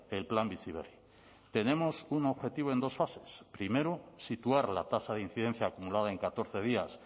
el plan bizi berri tenemos un objetivo en dos fases primero situar la tasa de incidencia acumulada en catorce días